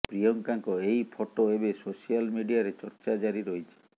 ପ୍ରିୟଙ୍କାଙ୍କ ଏହି ଫଟୋ ଏବେ ସୋସିଆଲ ମିଡିଆରେ ଚର୍ଚ୍ଚା ଜାରି ରହିଛି